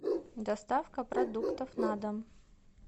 доставка продуктов на дом